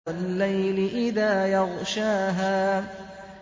وَاللَّيْلِ إِذَا يَغْشَاهَا